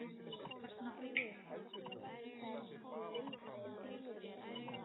tælast af einni vondir menn